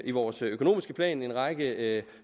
i vores økonomiske plan en række